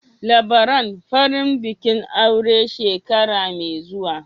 Labaran farin bikin aure shekara mai zuwa